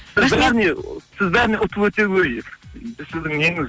сіз бәрін ұтып сіздің неңіз